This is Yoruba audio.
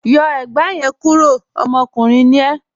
Yọ ẹ̀gbà yẹn kúró, ọmọkùnrin ni e